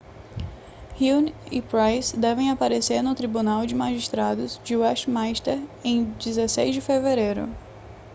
huhne e pryce devem aparecer no tribunal de magistrados de westminster em 16 de fevereiro